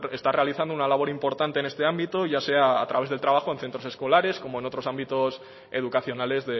bueno está realizando una labor importante en este ámbito ya sea a través del trabajo en centros escolares como en otros ámbitos educacionales